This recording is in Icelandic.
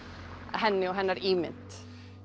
henni og hennar ímynd